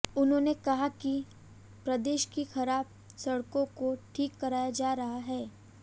उन्होंने कहा कि प्रदेश की खराब सड़कों को ठीक कराया जा रहा है